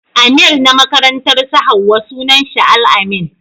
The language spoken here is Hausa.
Amir na makarantar su Hauwa sunan shi Al-amin.